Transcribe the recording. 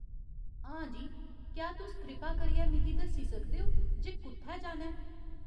हां जी, क्या तुस कृपा करियै मिगी दस्सी सकदे ओ जे कु'त्थै जाना ऐ ?